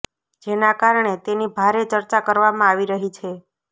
જેના કારણે તેની ભારે ચર્ચા કરવામાં આવી રહી છે